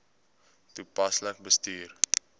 toepaslik bestuur